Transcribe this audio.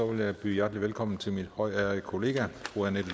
vil jeg byde hjertelig velkommen til min højtærede kollega fru annette